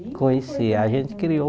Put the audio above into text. Conhecia a gente criou